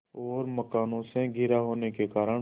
और मकानों से घिरा होने के कारण